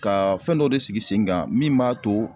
Ka fɛn dɔ de sigi sen kan min b'a to